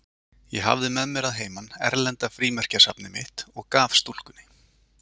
Ég hafði með mér að heiman erlenda frímerkjasafnið mitt og gaf stúlkunni.